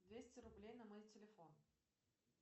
двести рублей на мой телефон